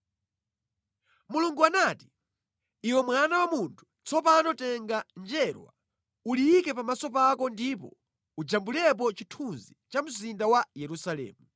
Mulungu anati, “Iwe mwana wa munthu, tsopano tenga njerwa, uliyike pamaso pako ndipo ujambulepo chithunzi cha mzinda wa Yerusalemu.